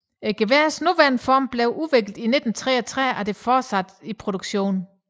Geværets nuværende form blev udviklet i 1933 og det er fortsat i produktion